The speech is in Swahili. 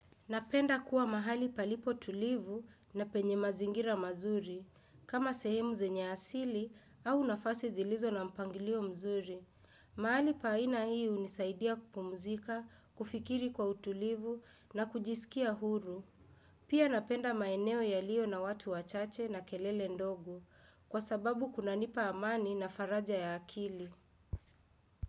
Napenda kuwa mahali palipo tulivu na penye mazingira mazuri, kama sehemu zenye asili au nafasi zilizo na mpangilio mzuri. Mahali pa aina hii hunisaidia kupumzika, kufikiri kwa utulivu na kujisikia huru. Pia napenda maeneo yalio na watu wachache na kelele ndogo, kwa sababu kunanipa amani na faraja ya akili.